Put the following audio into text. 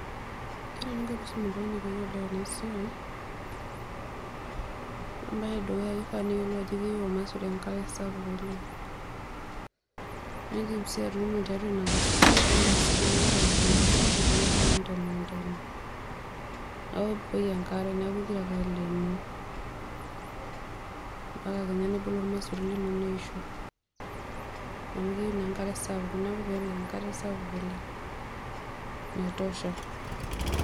Ore eninko pee isum oltung'ani peeyiolou ena siai naa ore embaye edukuya naa kifaa neyiolou ajo keyieu ormaisuri enkare sapuk oleng' naa in'dim sii atuuno tiatua ina kasuku naa in'dim sii atuuno teniata emukunda sapuk nilo aun te mukunda ino nibukoki enkare neeku igira ake aleenoo empaka kenya nebulu ormaisuri lino neisho amu keyieu naa enkare sapuk neeku peyie epik enkare sapuk oleng naitosha.